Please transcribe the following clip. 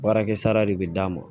Baarakɛ sara de bɛ d'a ma